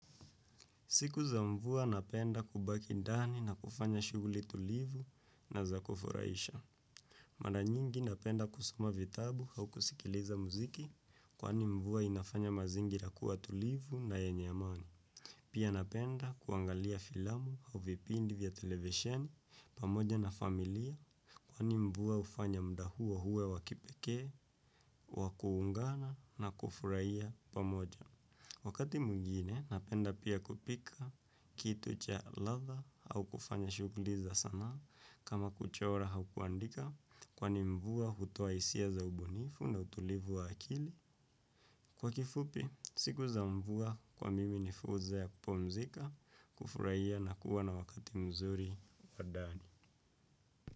Siku za mvua napenda kubaki ndani na kufanya shuguli tulivu na za kufuraisha. Maranyingi napenda kusoma vitabu au kusikiliza muziki kwaani mvua inafanya mazingira kuwa tulivu na yenye amani. Pia napenda kuangalia filamu au vipindi vya televisheni pamoja na familia kwani mvua ufanya mda huo huwe wa kipekee, wa kuungana na kufuraia pamoja. Wakati mwigine, napenda pia kupika kitu cha latha au kufanya shuguli za sanaa kama kuchora au kuandika kwani mvua hutoa isia za ubunifu na utulivu wa akili. Kwa kifupi siku za mvua kwa mimi ni fursa ya kupumzika, kufuraia na kuwa na wakati mzuri.